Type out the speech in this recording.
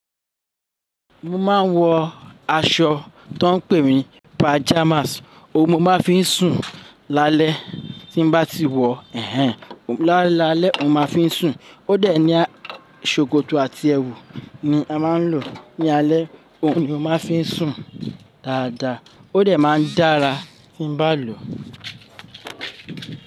Mo máa ń wọ aṣọ tó n pè ní pajamas ohun mo má ń fi n sùn lálẹ́ tí n bá ti wọ ehn en la lálẹ́ mo má fi n sùn. Ó dẹ̀ ní ṣòkòtò àti ẹwù ni a má ń lò ní alẹ́ ohun ni o má fi n sùn dáadáa. Ó dẹ̀ má ń dára tí n bá lò.